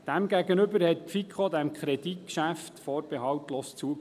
Demgegenüber stimmte die FiKo diesem Kreditgeschäft vorbehaltlos zu.